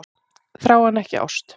Þrá en ekki ást